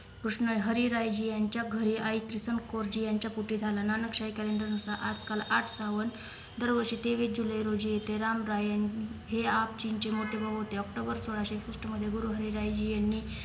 कृष्ण हरी रायाजी यांच्या घरी आई किशन कोरजी यांच्या कोठी झाला नानक शाही calender नुसार आज काल आठ सावन दर वर्षी तेवीस जुलै रोजी येथे राम रायान हे आपजींचे मोठे भाऊ होते October सोळाशे एकसष्ट मधे गुरु हरी रायाजी यांनी